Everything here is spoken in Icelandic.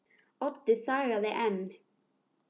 Oddur þagði enn.